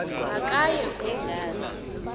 ma kaye kuvula